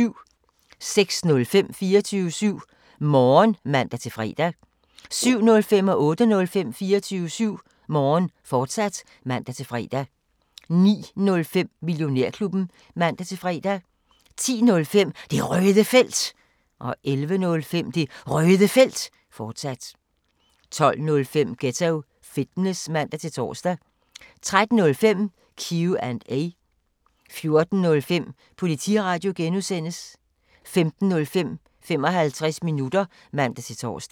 06:05: 24syv Morgen (man-fre) 07:05: 24syv Morgen, fortsat (man-fre) 08:05: 24syv Morgen, fortsat (man-fre) 09:05: Millionærklubben (man-fre) 10:05: Det Røde Felt 11:05: Det Røde Felt, fortsat 12:05: Ghetto Fitness (man-tor) 13:05: Q&A 14:05: Politiradio (G) 15:05: 55 minutter (man-tor)